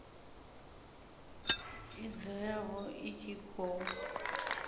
id yavho i tshi khou